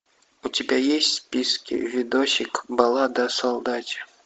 у тебя есть в списке видосик баллада о солдате